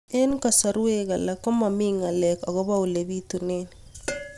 Eng' kasarwek alak ko mami ng'alek akopo ole pitunee